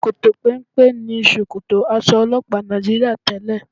Ṣòkòtò péńpé ni ṣòkòtò aṣọ ọlọ́pàá Nàìjííríà tẹ́lẹ̀